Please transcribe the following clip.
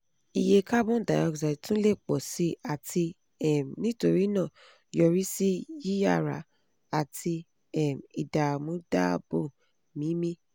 iye carbon dioxide tun le pọ si ati um nitorinaa yorisi yiyara ati um idaamu daabo mimi